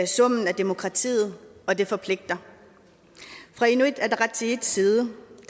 demokratiet og det forpligter fra inuit ataqatigiits side